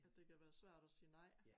At det kan være svært at sige nej